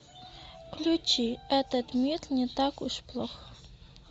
включи этот мир не так уж плох